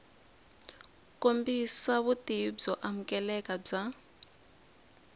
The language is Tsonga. kombisa vutivi byo amukeleka bya